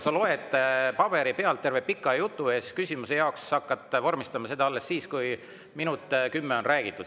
Sa loed paberi pealt terve pika jutu ette ja küsimust hakkad vormistama alles siis, kui minut ja kümme on räägitud.